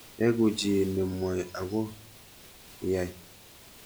Eku chi nemwai ako yai.